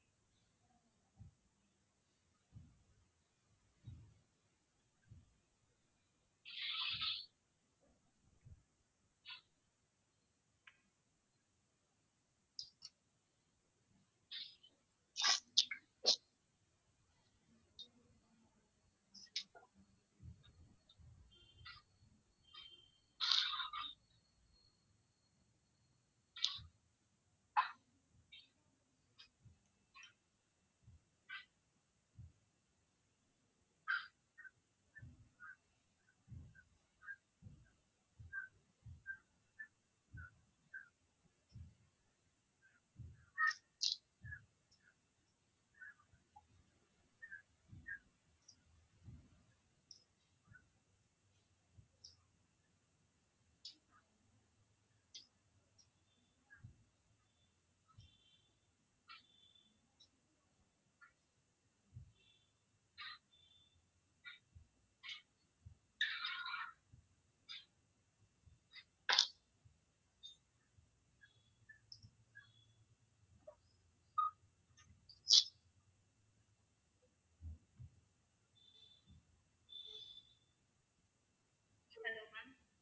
என்னென்ன maam